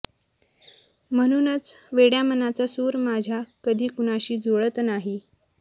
म्हणूनच वेड्या मनाचा सुर माझ्या कधी कुणाशी जुळत नाही